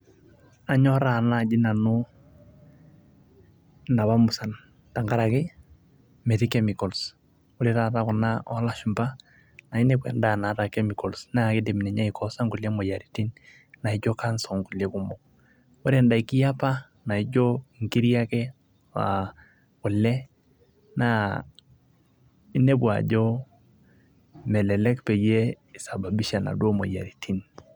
Anyorraa naaji nanu inopa musan, tenkarake metii chemicals, ore taata kuna oolashumba naa inepu endaa naata chemicals naa kidim ninye aikoosa nkulie moyiarin naijo Cancer onkulie kumok. Ore ndaiki eopa naijo nkiri ake aah kule naa inepu ajo melelek peyie eisababisha inaduo moyiaritin